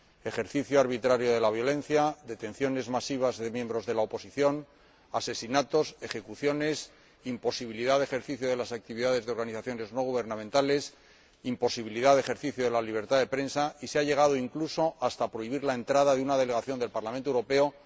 ejercicio arbitrario de la violencia, detenciones masivas de miembros de la oposición, asesinatos, ejecuciones, imposibilidad de ejercicio de las actividades de organizaciones no gubernamentales, imposibilidad de ejercicio de la libertad de prensa, y hasta se ha llegado incluso a prohibir la entrada de una delegación del Parlamento Europeo.